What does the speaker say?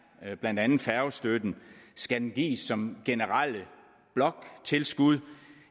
blandt andet færgestøtten skal den gives som generelt bloktilskud